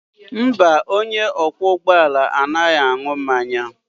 Mba, onye ọkwọ ụgbọ ala anaghị aṅụ mmanya